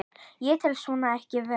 Ég tel svo ekki vera.